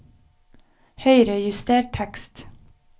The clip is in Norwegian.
Høyrejuster tekst